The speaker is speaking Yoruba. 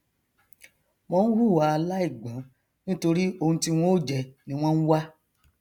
wọn nhùwà aláìgbọn nítorí oun tí wọn ó jẹ ni wọn nwá